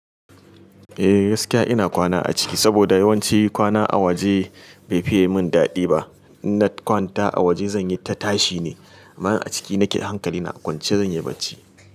Eh gaskiya ina kwana a ciki saboda yawanci kwana a waje bai fiye min daɗi ba. In na kwanta a waje zanyi ta tashi ne, amma a ciki nake hankali na, kwance zan yi barci.